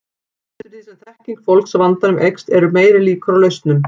Eftir því sem þekking fólks á vandanum eykst eru meiri líkur á lausnum.